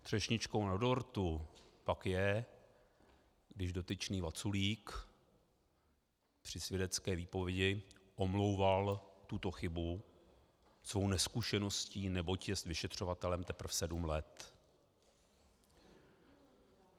Třešničkou na dortu pak je, když dotyčný Vaculík při svědecké výpovědi omlouval tuto chybu svou nezkušeností, neboť jest vyšetřovatelem teprve sedm let.